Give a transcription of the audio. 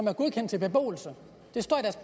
er godkendt til beboelse det står